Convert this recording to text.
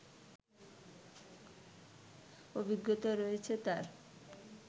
অভিজ্ঞতা রয়েছে তার